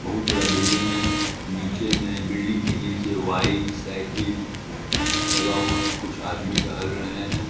बहुत बड़ा बिल्डिंग है नीचे में बिल्डिंग के नीचे वाइट साईकल लगा हुआ है कुछ आदमी टहल रहे हैं